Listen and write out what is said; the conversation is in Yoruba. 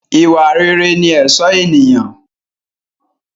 Ìwà rere ni ẹ̀sọ́ ènìyàn.